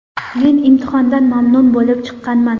Men imtihondan mamnun bo‘lib chiqqanman.